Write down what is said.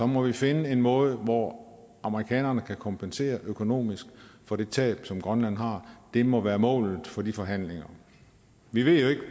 må vi finde en måde hvor amerikanerne kan kompensere økonomisk for det tab som grønland har det må være målet for de forhandlinger vi ved jo ikke